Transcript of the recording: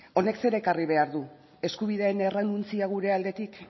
honek zer ekarri behar du eskubideen errenuntzia gure aldetik